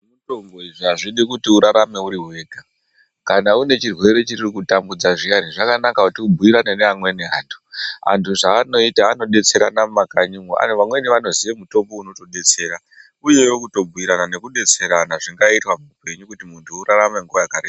Zvemitombo izvi azvidi kuti urarame uriwega kana unechirwere chiri kukutambudza zviyani zvakanaka kuti ubhuyirane neamweni anhu ,anhu zvaanoita anodetserana mumakanyimwo vamweni vanoziya mutombo unotodetsera uyewo kutobhuyirana nekudetserana zvingaitwa muupenyu kuti munhu urarame nguwa yakareba.